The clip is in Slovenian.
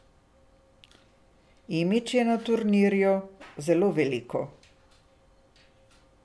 Imidž je na turnirju zelo veliko.